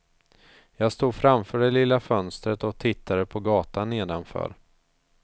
Jag stod framför det lilla fönstret och tittade på gatan nedanför.